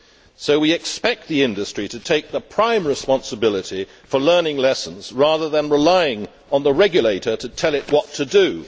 So we expect the industry to take the prime responsibility for learning lessons, rather than relying on the regulator to tell it what to do.